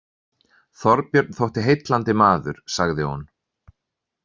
Þorbjörn þótti heillandi maður, sagði hún.